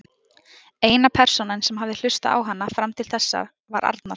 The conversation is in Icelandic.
Eina persónan sem hafði hlustað á hana fram til þessa var Arnar.